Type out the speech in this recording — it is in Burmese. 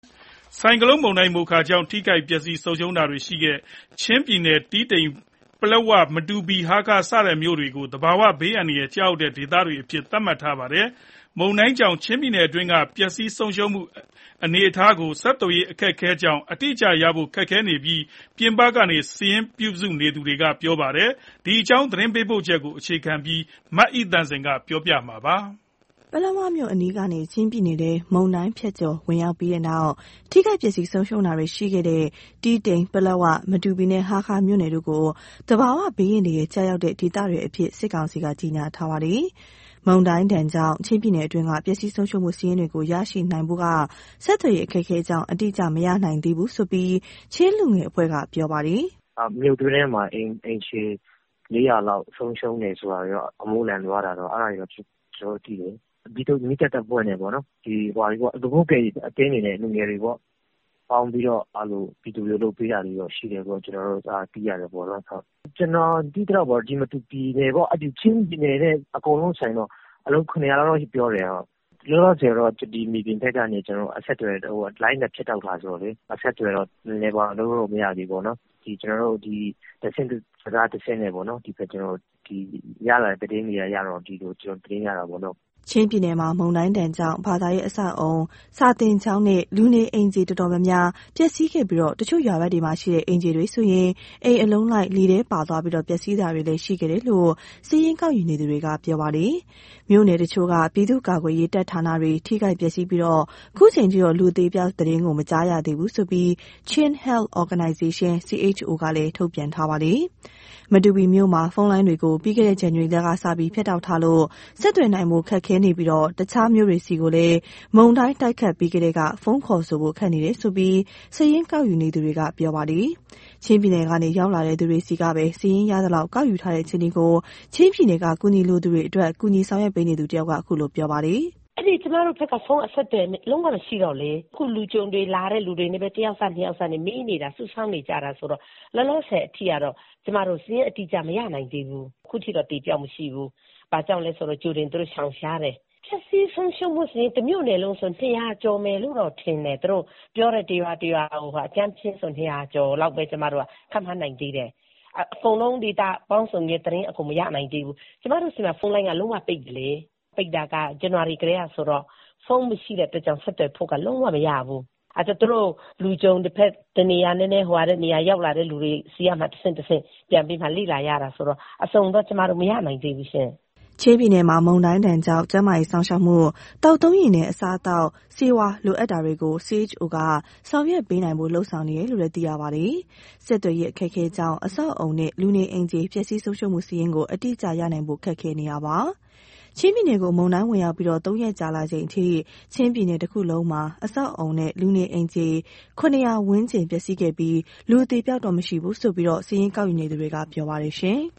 ဆိုင်ကလုန်းမုန်တိုင်း "မိုခါ" ကြောင့် ထိခိုက်ပျက်စီး ဆုံးရှုံးတာတွေရှိခဲ့တဲ့ ချင်းပြည်နယ်က တီးတိန်၊ ပလက်ဝ၊ မတူပီနဲ့ ဟားခါးမြို့နယ်တို့ကို သဘာဝဘေးအန္တရာယ် ကျရောက်တဲ့ဒေသတွေအဖြစ် သတ်မှတ်ထားပါတယ်။ မုန်တိုင်းဒဏ်ကြောင့် ချင်းပြည်နယ်အတွင်းက ပျက်စီးဆုံးရှုံးမှု အနေအထားကို ဆက်သွယ်ရေး အခက်အခဲကြောင့် အတိအကျရနိုင်ဖို့ ခက်ခဲနေတယ်လို့ ပြင်ပကနေ စာရင်းပြုစုနေသူတွေက ပြောပါတယ်။ ဒီအကြောင်း သတင်းပေးပို့ချက်ကို အခြေခံပြီး မအိသန့်စင်က ပြောပြမှာပါ။ ပလက်ဝမြို့ အနီးကနေ ချင်းပြည်နယ်ထဲ မုန်တိုင်းဖြတ်ကျော် ဝင်ရောက်ပြီးတဲ့နောက် ထိခိုက်ပျက်စီး ဆုံးရှုံးတာတွေရှိခဲ့တဲ့ တီးတိန်၊ ပလက်ဝ၊ မတူပီနဲ့ ဟားခါးမြို့နယ်တို့ကို သဘာဝဘေးအန္တရာယ် ကျရောက်တဲ့ဒေသတွေအဖြစ် စစ်ကောင်စီက ကြေညာထားပါတယ်။ မုန်တိုင်းဒဏ်ကြောင့် ချင်းပြည်နယ်အတွင်းက ပျက်စီးဆုံးရှုံးမှု စာရင်းတွေကို ရရှိနိုင်ဖို့က ဆက်သွယ်ရေး အခက်အခဲကြောင့် အတိအကျ မရနိုင်သေးဘူးလို့ ချင်းလူငယ်အဖွဲ့က ပြောပါတယ်။ "မြို့တွင်းထဲမှာ အိမ်ခြေ ၄၀၀ ဝန်းကျင် ဆုံးရှုံးတယ်။ အမိုးလန်သွားတယ်ဆိုတာတော့ သိရတယ်။ မီးသတ်တပ်ဖွဲ့နဲ့ လူမှုကယ်ဆယ်ရေး အသင်းတွေ၊ လူငယ်တွေ ပေါင်းပြီးတော့ ပြည်သူတွေကို လုပ်ပေးနေတာ ရှိတယ်လို့တော့ ကျနော်တို့ သိရတယ်။ ကျနော် သိရသလောက်တော့ မတူပီရော၊ ချင်းပြည်နယ် တခုလုံးဆို အလုံး ၇၀၀ ဝန်းကျင်လောက်တော့ ဆုံးရှုံးမယ်။ လောလောဆယ်တော့ မြေပြင်အခြေအနေက လိုင်းတွေဖြတ်တောက် ထားတာဆိုတော့လေ အဆက်အသွယ်တော့ လုပ်လို့မရသေးဘူး။ တဆင့်စကား တဆင့်နဲ့ ဒီလိုသတင်းတွေ ရနေတာပေါ့။" ချင်းပြည်နယ်မှာ မုန်တိုင်းဒဏ်ကြောင့် ဘာသာရေး အဆောက်အအုံ၊ စာသင်ကျောင်းနဲ့ လူနေအိမ်ခြေ အတော်များများ ပျက်စီးခဲ့ပြီး၊ တချို့ရွာဘက်မှာရှိတဲ့ အိမ်ခြေတွေဆိုရင် အိမ်အလုံးလိုက် လေထဲပါသွားပြီး ပျက်စီးတာတွေလည်း ရှိခဲ့တယ်လို့ စာရင်း ကောက်ယူနေသူတွေက ပြောပါတယ်။ မြို့နယ်တချို့က ပြည်သူ့ကာကွယ်ရေး တပ်ဌာနတွေ ထိခိုက်ပျက်စီးပြီး၊ အခုချိန်ထိတော့ လူအသေအပျောက်သတင်း မကြားရသေးဘူးလို့ Chin Health Organization ကလည်း ထုတ်ပြန်ထားပါတယ်။ မတူပီမြို့မှာ ဖုန်းလိုင်းတွေကို ပြီးခဲ့တဲ့ ဇန်နဝါရီလကစပြီး ဖြတ်တောက်ထားလို့ ဆက်သွယ်နိုင်ဖို့ ခက်ခဲနေပြီး၊ တခြားမြို့တွေဆီလည်း မုန်တိုင်း တိုက်ခတ်ပြီးကတည်းက ဖုန်းခေါ်ဆိုဖို့ ခက်နေတယ်လို့ စာရင်းကောက်ယူ နေသူတွေက ပြောပါတယ်။ ချင်းပြည်နယ်ကနေ ရောက်လာတဲ့ သူတွေဆီကပဲ စာရင်းရသလောက် ကောက်ယူထားတဲ့ အခြေအနေကို ချင်းပြည်နယ်က အကူအညီလိုသူတွေအတွက် ကူညီဆောင်ရွက်ပေးနေသူ တဦးက အခုလို ပြောပြပါတယ်။ "ကျမတို့နဲ့ အဲဒီဘက်က ဖုန်းအဆက်အသွယ် လုံးဝမရှိတော့ အခုလာတဲ့ လူကြုံတွေ တယောက်စ၊ နှစ်ယောက်စဆီကနေ အခြေအနေမေး စုဆောင်းနေရတာဆိုတော့ လောလောဆယ် အထိကတော့ ကျမတို့ စာရင်းအတိအကျ မရနိုင်သေးဘူး။ ရသလောက် စာရင်းအရဆို အခုထိတော့ အသေအပျောက် မရှိဘူး။ ဘာကြောင့်လဲဆို ကြိုတင်ပြီးတော့ သူတို့ရှောင်ရှားတယ်။ ပျက်စီးဆုံးရှုံးမှုက တမြို့နယ်လုံးဆို ၂၀၀ ကျော်မယ်လို့တော့ ထင်တယ်။ သူတို့ပြောတဲ့ ရွာတွေစာရင်းအရ ကျမတို့က အကြမ်းဖျဉ်းပဲ ခန့်မှန်းနိုင်သေးတယ်။ အကုန်လုံး ဒေတာပေါင်းစုံနဲ့ သတင်းအစုံ မရနိုင်သေးဘူး။ ကျမတို့ဆီမှာ ဖုန်းလိုင်းက လုံးဝပိတ်ပြီလေ။ ဇန်နဝါရီကတည်းက ပိတ်တာဆိုတော့ ဖုန်းမရှိတဲ့အခါကျတော့ ဆက်သွယ်ဖို့က လုံးဝမရဘူး။ အဲတော့ ရောက်လာတဲ့ လူကြုံတွေဆီကနေပဲ တဆင့်ပြီးတဆင့် လေ့လာရတာဆိုတော့ အစုံတော့ ကျမတို့ မရနိုင်သေးဘူးရှင့်။" ချင်းပြည်နယ်မှာ မုန်တိုင်းဒဏ်ကြောင့် ကျန်းမာရေး စောင့်ရှောက်မှု၊ သောက်သုံးရေနဲ့ အစားအသောက်၊ ဆေးဝါး လိုအပ်တာတွေကို CHO က ဆောင်ရွက်ပေးနိုင်ဖို့ လုပ်ဆောင်နေတယ်လို့ သိရပါတယ်။ ဆက်သွယ်ရေး အခက်အခဲကြောင့် အဆောက်အအုံနဲ့ လူနေအိမ်ခြေ ပျက်စီးဆုံးရှုံးမှု စာရင်းကို အတိအကျရနိုင်ဖို့ ခက်ခဲနေပါတယ်။ ချင်းပြည်နယ်ကို မုန်တိုင်းဝင်ရောက်ပြီး ၃ ရက်ကြာလာချိန်အထိ ချင်းပြည်နယ်တခုလုံးမှာ အဆောက်အအုံနဲ့ လူနေအိမ်ခြေ ၇၀၀ ဝန်းကျင် ပျက်စီးခဲ့ပြီး၊ လူအသေအပျောက်တော့ မရှိဘူးလို့ စာရင်းကောက်ယူ နေသူတွေက ပြောပါတယ်။